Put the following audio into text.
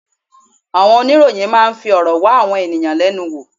Àwọn oníròyìn máa ń fi ọ̀rọ̀ wá àwọn ẹ̀yàn lẹ́nu wò.